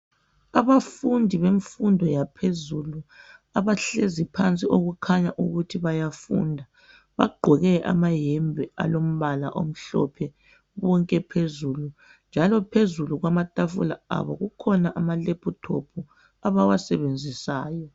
Abafundi bemfundo yaphezulu abahlezi phansi okukhanya ukuthi bayafunda bagqoke amayembe alombala omhlophe bonke phezulu njalo phezulu kwamatafula abo kukhona amalephuthophu abawasebenzisayo.